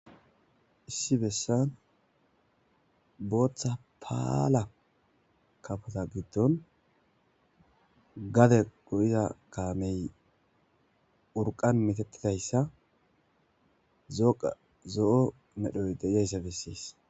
issi bessan booththa paala kafota giddon gade go7iza kaamey urqan mitattidayssa zzo7o medhoy degayssa bessees